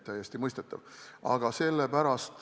Täiesti mõistetav!